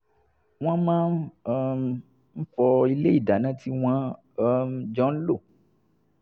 wọ́n máa um ń fọ ilé ìdáná tí wọ́n um jọ ń lò